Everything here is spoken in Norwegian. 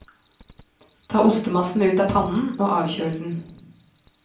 Ta ostemassen ut av pannen og avkjøl den.